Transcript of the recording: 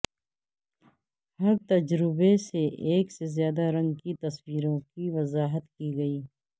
ہر تجربے سے ایک سے زیادہ رنگ کی تصویروں کی وضاحت کی گئی